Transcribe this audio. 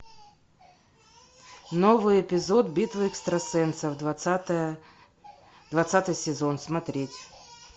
новый эпизод битвы экстрасенсов двадцатая двадцатый сезон смотреть